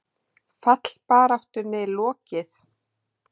Fallbaráttunni lokið?